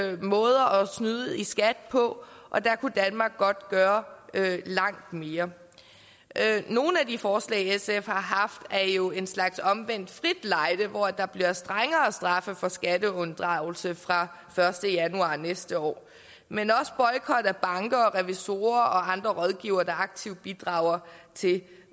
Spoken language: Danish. snyde i skat på og der kunne danmark godt gøre langt mere nogle af de forslag sf har haft er jo en slags omvendt frit lejde hvor der bliver strengere straffe for skatteunddragelse fra første januar næste år men også boykot af banker revisorer og andre rådgivere der aktivt bidrager til